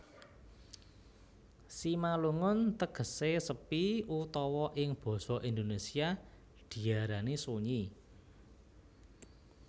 Simalungun tegesé sepi utawa ing basa Indonesia diarani sunyi